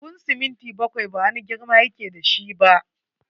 Buhun siminti bakwai ba wani girma ya ke da shi ba.